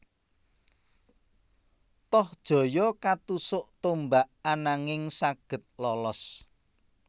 Tohjaya katusuk tombak ananging saged lolos